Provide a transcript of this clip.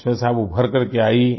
उसमें से आप उभर करके आईं